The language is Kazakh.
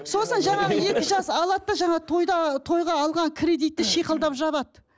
сосын жаңағы екі жас алады да жаңағы тойда тойға алған кредитті шиқылдап жабады